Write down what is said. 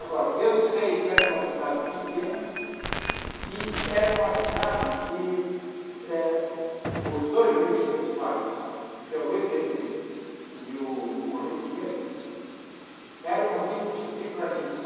Agora, eu sei que era uma cidade pequena e era uma cidade que eh os dois rios principais, que é o Rio Tietê e o Rio Pinheiros, eram rios de planície.